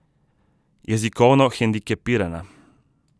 Jezikovno hendikepirana.